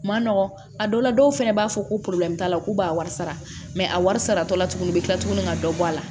Ma nɔgɔ a dɔw la dɔw fɛnɛ b'a fɔ ko t'a la k'u b'a wari sara a wari saratɔ la tuguni u bɛ tila tuguni ka dɔ bɔ a la